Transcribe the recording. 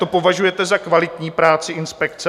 To považujete za kvalitní práci inspekce?